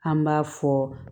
An b'a fɔ